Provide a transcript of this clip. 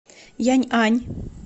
яньань